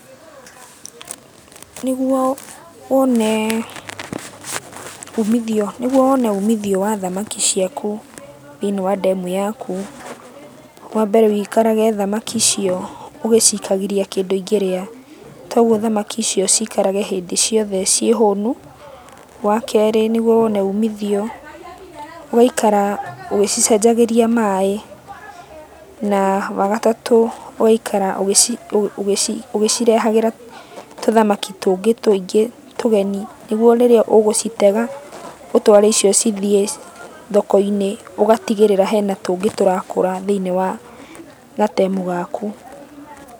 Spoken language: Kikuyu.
Nĩguo wonee umithio, nĩguo wone umithio wa thamaki ciaku thĩiniĩ wa ndemu yaku, wambere wĩikarage thamaki icio ũgĩcikagĩria kĩndũ ingĩrĩa. Toguo thamaki icio cikarage hĩndĩ ciothe ciĩ hũnu. Wakerĩ nĩguo wone umithio, ũgaikara ũgĩcicenagĩria maĩ, na wagatatũ ũgaikara ũgĩcirehagĩra tũthamaki tũngĩ tũingĩ tũgeni nĩguo rĩrĩa ũgũcitega ũtware icio cithiĩ thoko-inĩ, ũgatigĩrĩra hena tũngĩ tũrakũra thĩiniĩ wa gatemu gaku.